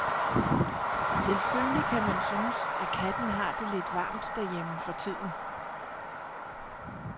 Selvfølgelig kan man synes, at katten har det lidt varmt derhjemme for tiden.